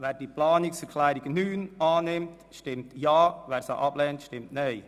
Wer diese annimmt, stimmt Ja, wer diese ablehnt, stimmt Nein.